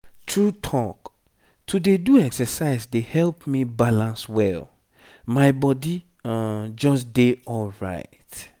true talk to dey do exercise dey help me balance well my body just dey alright.